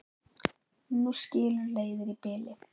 Nú skilur leiðir í bili.